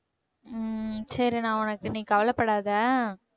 ஹம் சரி நான் உனக்கு நீ கவலைப்படாத